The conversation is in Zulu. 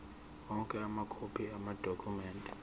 onke amakhophi amadokhumende